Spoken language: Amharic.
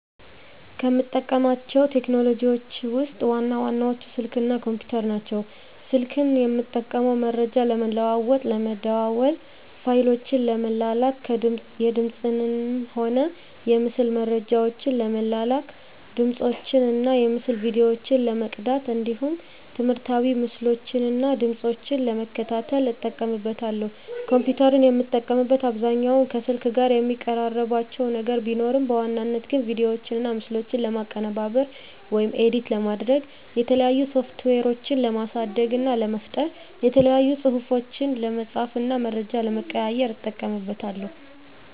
ከምጠቀማቸው ቴክኖሎጂዎችን ውስጥ ዋና ዋናዎቹ ስልክ እና ኮምፒተር ናቸው። ስልክን የምጠቀመው መረጃ ለመለዋዎጥ ለመደዋዎል፣ ፋይሎችን ለመላላክ፣ የድምፅንም ሆነ የምስል መረጃዎችን ለመላላክ፣ ድምፆችን እና የምስል ቪዲዮዎችን ለመቅዳት እንዲሁም ትምህርታዊ ምስሎችን እና ድምጾችን ለመከታተል እጠቀምበታለሁ። ኮምፒተርን የምጠቀምበት አብዛኛውን ከስልክ ጋር የሚቀራርባቸው ነገር ቢኖርም በዋናነት ግን ቪዲዮዎችና ምስሎችን ለማቀነባበር (ኤዲት) ለማድረግ፣ የተለያዩ ሶፍትዌሮችን ለማሳደግ እና ለመፍጠር፣ የተለያዩ ፅሁፎችን ለመፃፍ እና መረጃ ለመቀያየር ... እጠቀምበታለሁ።